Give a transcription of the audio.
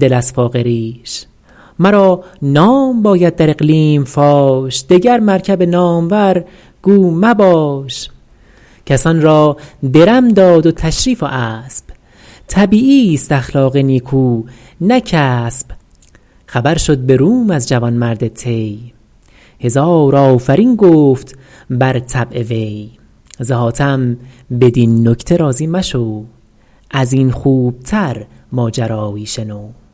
دل از فاقه ریش مرا نام باید در اقلیم فاش دگر مرکب نامور گو مباش کسان را درم داد و تشریف و اسب طبیعی ست اخلاق نیکو نه کسب خبر شد به روم از جوانمرد طی هزار آفرین گفت بر طبع وی ز حاتم بدین نکته راضی مشو از این خوب تر ماجرا یی شنو